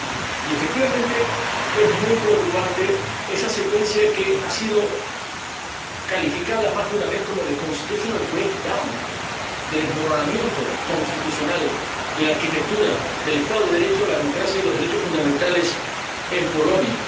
Y, efectivamente, es muy preocupante esa secuencia que ha sido calificada más de una vez como de constitutional breakdown de desmoronamiento constitucional de la arquitectura del Estado de Derecho, la democracia y los derechos fundamentales en Polonia.